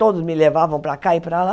Todos me levavam para cá e para lá.